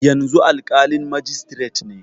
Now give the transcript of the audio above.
Yanzu alƙalin majistiret ne.